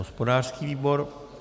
Hospodářský výbor.